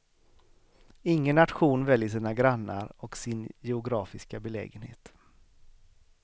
Ingen nation väljer sina grannar och sin geografiska belägenhet.